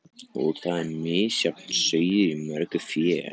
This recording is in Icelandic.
Og þar er misjafn sauður í mörgu fé.